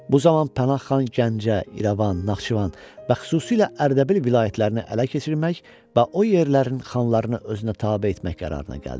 Bu zaman Pənahxan Gəncə, İrəvan, Naxçıvan və xüsusilə Ərdəbil vilayətlərini ələ keçirmək və o yerlərin xanlarını özünə tabe etmək qərarına gəldi.